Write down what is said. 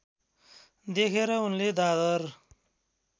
देखेर उनले दादर